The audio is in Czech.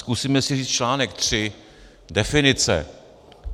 Zkusíme si říct článek 3 Definice.